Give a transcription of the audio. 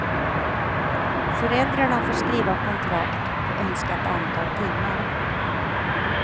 Föräldrarna får skriva kontrakt på önskat antal timmar.